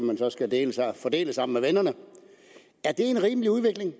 fordeles sammen med vennerne er det en rimelig udvikling